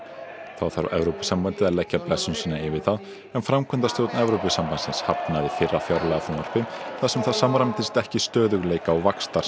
þá þarf Evrópusambandið að leggja blessun sína yfir það en framkvæmdastjórn Evrópusambandsins hafnaði fyrra fjárlagafrumvarpi þar sem það samræmdist ekki stöðugleika og